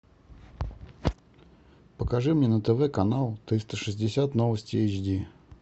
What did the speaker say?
покажи мне на тв канал триста шестьдесят новости эйч ди